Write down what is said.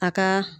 A ka